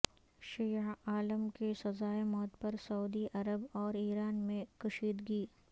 شیعہ عالم کی سزائے موت پر سعودی عرب اور ایران میں کشیدگی